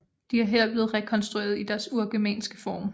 De er her blevet rekonstrueret i deres urgermanske form